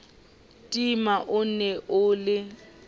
tima o ne o le